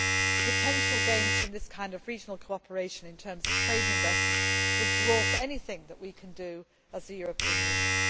The potential gains from this kind of regional cooperation in terms of trade and investment would dwarf anything we can do as the European Union.